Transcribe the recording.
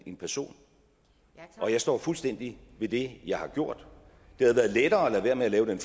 en person og jeg står fuldstændig ved det jeg har gjort det havde været lettere at lade være med at lave den